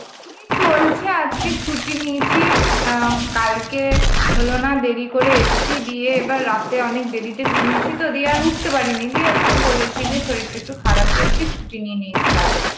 এই চলছে আজকে ছুটি নিয়েছি অ্যাঁ কালকে অ্যাঁ বললো না দেড়ি করে এসছি রাতে অনেক দেড়ি তে ঘুমিইয়ে ছি তো উঠতে পারি নি দিয়ে আজকে বলেছি যে শরীর টা একটু খারাপ, দিয়ে ছুটি নিয়ে নিয়েছি কালকে